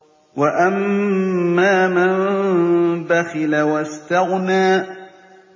وَأَمَّا مَن بَخِلَ وَاسْتَغْنَىٰ